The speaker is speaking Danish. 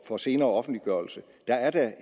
for senere offentliggørelse der er da